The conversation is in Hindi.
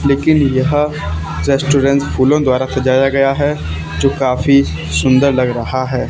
लेकिन यह रेस्टोरेंट फूलों द्वारा सजाया गया है जो काफी सुंदर लग रहा है।